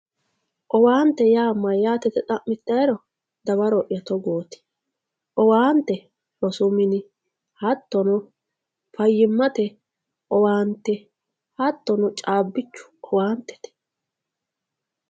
Owaante yaa mayyate yite xa'mittaero, dawaroya togooti owaante rosu mini hattono fayyimmate owaante hattono caabbichu owaantete.